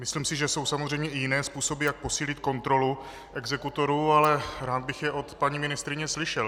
Myslím si, že jsou samozřejmě i jiné způsoby, jak posílit kontrolu exekutorů, ale rád bych je od paní ministryně slyšel.